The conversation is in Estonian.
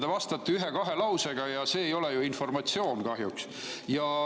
Te vastate ühe-kahe lausega, aga see ei ole ju informatsioon, kahjuks.